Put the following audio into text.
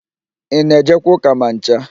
Ị na-ejekwa ụ́kà ma ncha?